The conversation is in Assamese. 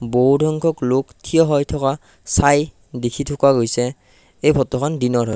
বহু সংখ্যক লোক থিয় হৈ থকা চাই দেখি থকা গৈছে এই ফটোখন দিনৰ হয়।